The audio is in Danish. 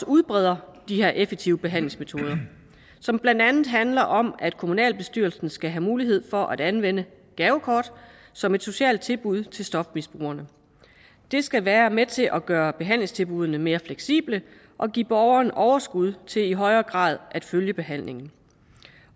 udbreder de her effektive behandlingsmetoder som blandt andet handler om at kommunalbestyrelsen skal have mulighed for at anvende gavekort som et socialt tilbud til stofmisbrugerne det skal være med til at gøre behandlingstilbuddene mere fleksible og give borgeren overskud til i højere grad at følge behandlingen